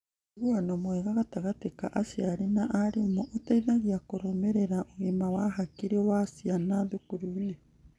Ũiguano mwega gatagatĩ ka aciari na arimũ ũteithagia kũrũmĩrĩra ũgima wa hakiri wa ciana thukuru-inĩ.